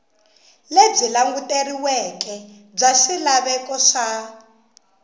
lebyi languteriweke bya swilaveko swa